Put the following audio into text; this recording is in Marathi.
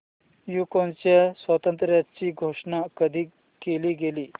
युक्रेनच्या स्वातंत्र्याची घोषणा कधी केली गेली